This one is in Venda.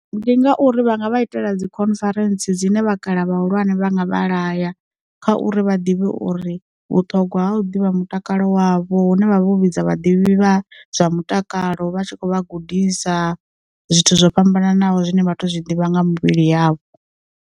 Ndi ngauri vhanga vha itela dzi conference dzine vhakalaha vhahulwane vha nga vha laya, kha uri vha ḓivhe uri vhuṱhogwa ha u ḓivha mutakalo wavho hune vha vha vho vhidza vhaḓivhi vha zwa mutakalo vha tshi khou vha gudisa zwithu zwo fhambananaho zwine vhathu zwi ḓivha nga mivhili yavho.